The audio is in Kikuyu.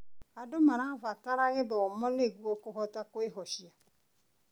Andũ marabatara gĩthomo nĩguo kũhota kwĩhocia.